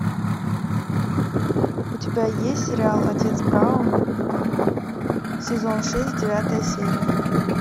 у тебя есть сериал отец браун сезон шесть девятая серия